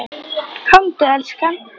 Komdu elskan!